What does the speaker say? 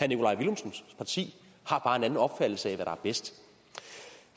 nikolaj villumsens parti har bare en anden opfattelse af hvad der er bedst